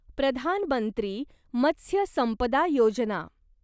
प्रधान मंत्री मत्स्य संपदा योजना